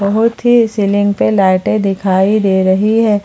बहुत ही सीलिंग पे लाइटे दिखाई दे रही है।